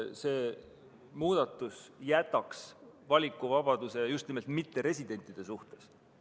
See muudatus jätaks aga valikuvabaduse mitteresidentide suhtes.